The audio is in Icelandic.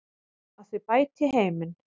Að þau bæti heiminn.